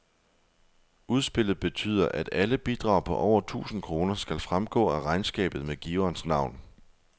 Udspillet betyder, at alle bidrag på over tusind kroner skal fremgå af regnskabet med giverens navn.